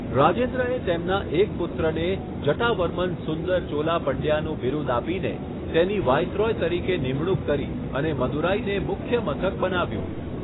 રાજેન્દ્રએ તેમના એક પુત્રને જટાવર્મન સુંદર ચોલા પંડ્યાનું બિરુદ આપીને તેની વાઇસરોય તરીકે નિમણૂક કરી અને મદુરાઈને મુખ્ય મથક બનાવ્યું.